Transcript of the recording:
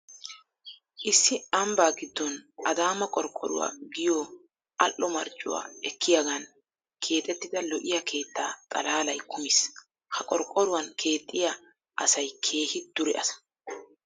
Issi ambbaa giddon adaama qorqqoruwa giyo al"o marccuwa ekkiyagan keexettida lo'iya keetta xalaalay kumiis. Ha qorqqoruwan keexxiya asay keehi dure asa.